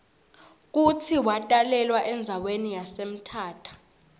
kutsi watalelwa endzawani yase mthatha